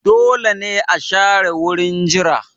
Dole ne a share wurin jira